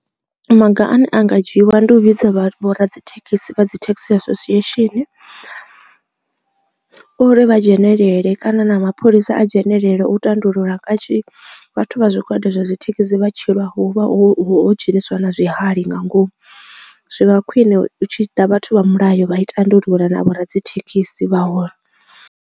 Maga ane a nga dzhiiwa ndi u vhidza vho ra dzi thekhisi vha dzi taxi association uri vha dzhenelele kana na mapholisa a dzhenelele u tandulula kanzhi vhathu vha zwigwada zwa dzi thekhisi vha tshi lwa hu vha ho dzhenisiwa na zwihali nga ngomu zwi vha khwine hu tshi ḓa vhathu vha mulayo vha I tandulula na vho radzithekhisi vha hone.